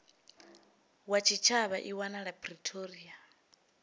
wa tshitshavha i wanala pretoria